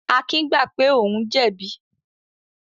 Akin gbà pé òun jẹ̀bi.